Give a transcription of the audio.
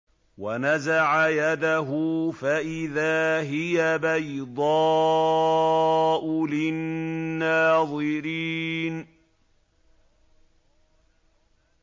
وَنَزَعَ يَدَهُ فَإِذَا هِيَ بَيْضَاءُ لِلنَّاظِرِينَ